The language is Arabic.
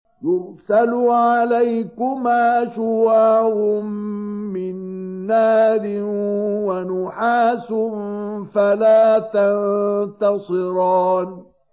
يُرْسَلُ عَلَيْكُمَا شُوَاظٌ مِّن نَّارٍ وَنُحَاسٌ فَلَا تَنتَصِرَانِ